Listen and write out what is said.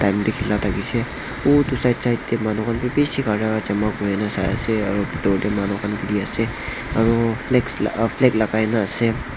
thila thakishey uteh kinar kinar teh manu khan bi bishi bhara jama kurigena saiase aru bitor deh manu khan khili ase aru flags flag lagai na ase.